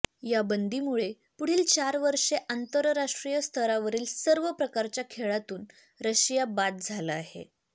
या बंदीमुळे पुढील चार वर्षे आंतरराष्ट्रीय स्तरावरील सर्व प्रकारच्या खेळांतून रशिया बाद झाला आहे